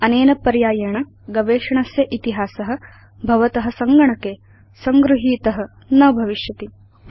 अनेन पर्यायेण गवेषणस्य इतिहास भवत सङ्गणके संगृहीत न भविष्यति